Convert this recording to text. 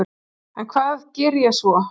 En hvað geri ég svo?